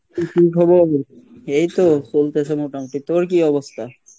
তোর কী খবর এখন? এইতো চলতেসে মোটামুটি, তোর কী অবস্থা?